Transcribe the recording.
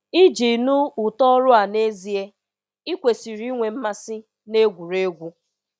Iji nụ ụtọ ọrụ a nezie, ịkwesịrị inwe mmasị na egwuregwu!